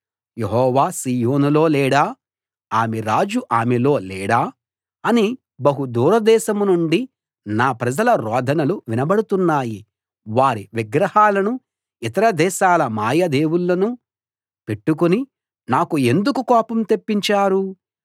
యెహోవా సీయోనులో లేడా ఆమె రాజు ఆమెలో లేడా అని బహు దూరదేశం నుండి నా ప్రజల రోదనలు వినబడుతున్నాయి వారి విగ్రహాలను ఇతర దేశాల మాయ దేవుళ్ళను పెట్టుకుని నాకు ఎందుకు కోపం తెప్పించారు